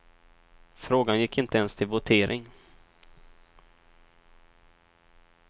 Frågan gick inte ens till votering.